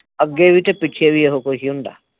ਅੱਗੇ ਵੀ ਤੇ ਪਿੱਛੇ ਵੀ ਇਹ ਕੁਝ ਹੀ ਹੁੰਦਾ